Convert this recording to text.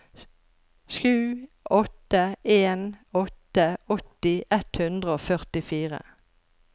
sju åtte en åtte åtti ett hundre og førtifire